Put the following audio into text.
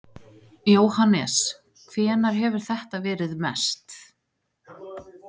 Jóhannes: Hvenær hefur þetta verið mest?